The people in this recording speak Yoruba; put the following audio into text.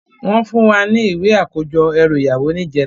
Wòn fún wá ni iwé àkójò èrú iyàwó nijètá